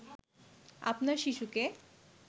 আপনার শিশুকে